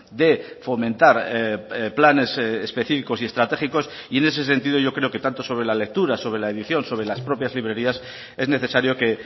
de fomentar planes específicos y estratégicos y en ese sentido que tanto sobre la lectura sobre la edición sobre las propias librerías es necesario que